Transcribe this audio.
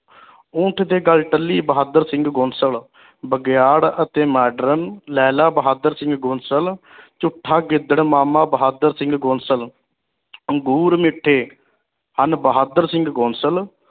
ਊਠ ਦੇ ਗੱਲ ਟਲੀ ਬਹਾਦਰ ਸਿੰਘ ਗੋਸਲ ਬਗਿਆੜ ਅਤੇ ਮਾਡਰਨ ਲੇਲਾ ਬਹਾਦਰ ਸਿੰਘ ਗੋਸਲ ਝੂਠਾ ਗਿੱਦੜ ਮਾਮਾ ਬਹਾਦਰ ਸਿੰਘ ਗੋਸਲ ਅੰਗੂਰ ਮਿੱਠੇ ਹਨ ਬਹਾਦਰ ਸਿੰਘ ਗੋਸਲ